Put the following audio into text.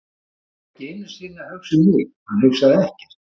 Hann var ekki einu sinni að hugsa um mig, hann hugsaði ekkert.